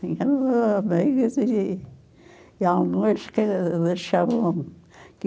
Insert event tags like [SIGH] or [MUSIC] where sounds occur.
[UNINTELLIGIBLE] que lanchavam, que